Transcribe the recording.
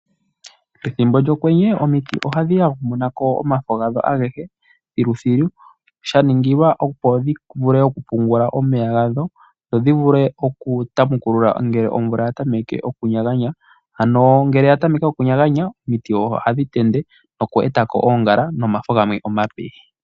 Pethimbo lyokwenye omiti ohadhi yagumuka omafo gadho agehe thiluthilu, sha ningilwa opo dhi vule okupungula omeya gadho dho dhi vule okutamekulula ngele omvula ya tameke okunyaganya. Ngele ya tameke okunyaganya omiti ohadhi tende oku eta ko oongala nomafo gamwe omape.